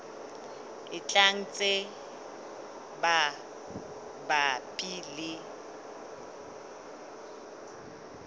e tlang tse mabapi le